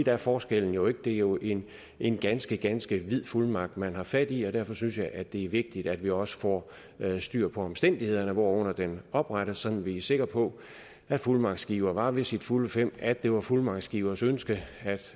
er forskellen jo ikke det er jo en en ganske ganske vid fuldmagt man har fat i og derfor synes jeg at det er vigtigt at vi også får styr på omstændighederne hvorunder den oprettes sådan at vi er sikre på at fuldmagtsgiver var ved sine fulde fem og at det var fuldmagtsgivers ønske